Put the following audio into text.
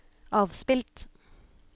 avspilt